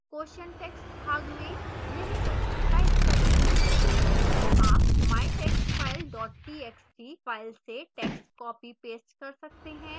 question text भाग में निम्न प्रश्न type करें